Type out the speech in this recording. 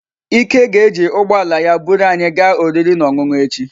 Ike ga-eji ụgbọ ala ya buru anyị gaa oriri na ọṅụṅụ echi.